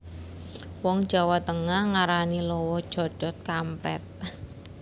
Wong Jawa Tengah ngarani lowo codhot kamprét